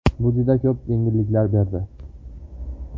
Bu juda ko‘p yengilliklar berdi.